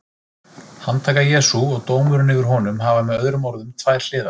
Handtaka Jesú og dómurinn yfir honum hafa með öðrum orðum tvær hliðar.